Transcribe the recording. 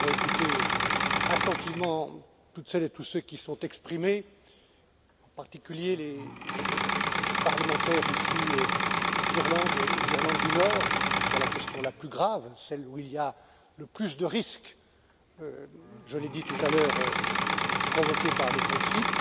Nous avons écouté attentivement toutes celles et tous ceux qui se sont exprimés, en particulier les parlementaires issus d'Irlande et d'Irlande du Nord, sur la question la plus grave, celle où il y a le plus de risques, je l'ai dit tout à l'heure, provoqués par le Brexit